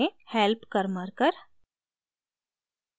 help karmarkar